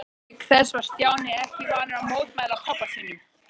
Auk þess var Stjáni ekki vanur að mótmæla pabba sínum.